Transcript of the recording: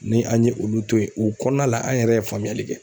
Ni an ye olu to yen o kɔɔna la an yɛrɛ ye faamuyali kɛ.